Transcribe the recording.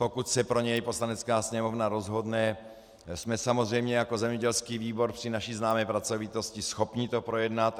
Pokud se k němu Poslanecká sněmovna rozhodne, jsme samozřejmě jako zemědělský výbor při naší známé pracovitosti schopni to projednat.